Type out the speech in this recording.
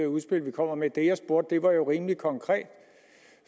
udspil vi kommer med det jeg spurgte om var jo rimelig konkret